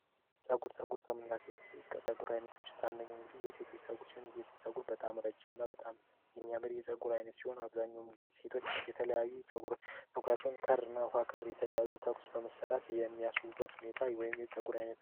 ፀጉር ፀጉር ከምላጉ አይነቶች አንደኛ እንግዲህ የሴቶች በጣም የሚያምር የፀጉር አይነት ሲሆን አብዛኛውን ጊዜ ሴቶች የተለያዩ ጸጉራቸውን የተለያዩ ታውቁት በመሰራት የሚያስቡበት ሁኔታ